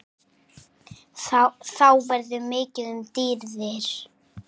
Þá verður mikið um dýrðir